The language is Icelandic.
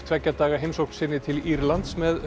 tveggja daga heimsókn sinni til Írlands með